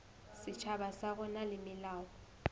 setjhaba sa rona le melao